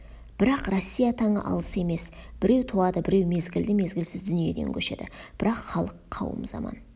бірақ россия таңы алыс емес біреу туады біреу мезгілді мезгілсіз дүниеден көшеді бірақ халық қауым заман